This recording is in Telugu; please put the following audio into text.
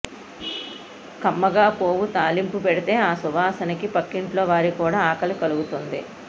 కమ్మగా పోపు తాలింపు పెడితే ఆ సువాసనకి పక్కింట్లో వారిక్కూడా ఆకలి కలుగుతుంది